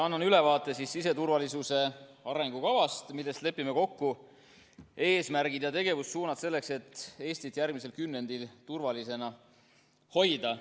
Annan ülevaate siseturvalisuse arengukavast, milles lepime kokku eesmärgid ja tegevussuunad selleks, et Eestit järgmisel kümnendil turvalisena hoida.